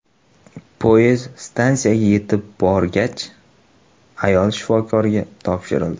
Poyezd stansiyaga yetib borgach, ayol shifokorlarga topshirildi.